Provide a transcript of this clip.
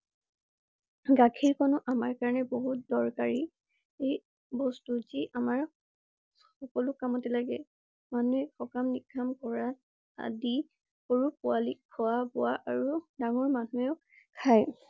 গাখীৰ কন ও আমাৰ কাৰণে বহুত দৰকাৰী। এই বস্তু যি আমাৰ সকলো কামতে লাগে। মানুহে সকাম নীকাম কৰা আদি সৰু পোৱালিক খোৱা বোৱা আৰু ডাঙৰ মানুহে ও খাই।